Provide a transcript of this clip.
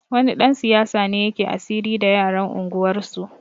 Wani ɗan siyasa ne yake asiri da yaran unguwarsu